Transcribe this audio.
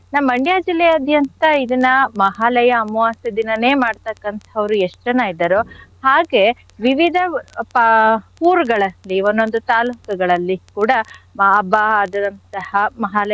ನಮ್ Mandya ಜಿಲ್ಲೆಯಾದ್ಯಂತ ಇದನ್ನ ಮಹಾಲಯ ಅಮಾವಾಸ್ಯೆ ದಿನನೆ ಮಾಡ್ತಕ್ಕಂಥವ್ರು ಎಷ್ಟ್ ಜನ ಇದಾರೋ ಹಾಗೆ ವಿವಿಧ ಪ~ ಊರುಗಳಲ್ಲಿ ಒಂದೊಂದು ತಾಲ್ಲೂಕುಗಳಲ್ಲಿ ಕೂಡ ಮಹಾಲಯ.